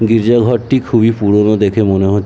গির্জা ঘরটি খুবই পুরোনো দেখে মনে হ--